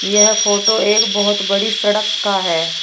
यह फोटो एक बहोत बड़ी सड़क का है।